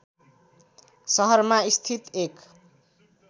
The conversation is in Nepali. सहरमा स्थित एक